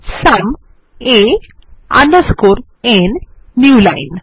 sum a underscore n new line